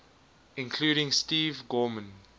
including steve gorman